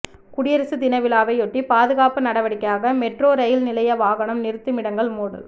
குடியரசு தினவிழாவையொட்டி பாதுகாப்பு நடவடிக்கையாக மெட்ரோ ரயில் நிலைய வாகன நிறுத்துமிடங்கள் மூடல்